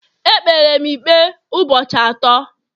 E kpere m ikpe ụbọchị atọ